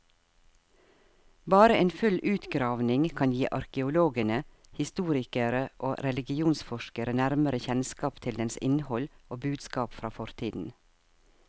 Bare en full utgravning kan gi arkeologene, historikere og religionsforskere nærmere kjennskap til dens innhold og budskap fra fortiden.